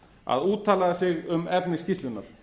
að úttala sig um efni skýrslunnar